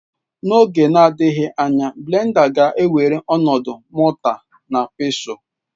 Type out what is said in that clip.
N'oge na-adịghị anya blenda ga-ewere ọnọdụ mọta na Pestụl.